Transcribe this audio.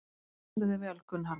Þú stendur þig vel, Gunnharða!